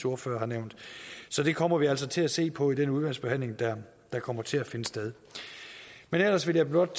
ordfører har nævnt så det kommer vi altså til at se på i den udvalgsbehandling der kommer til at finde sted ellers vil jeg blot